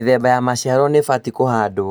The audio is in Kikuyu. Mĩthemba ya maciaro nĩbatie kũhandwo